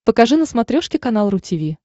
покажи на смотрешке канал ру ти ви